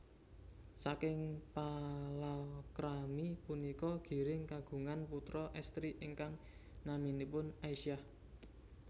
Saking palakrami punika Giring kagungan putra estri ingkang naminipun Aisyah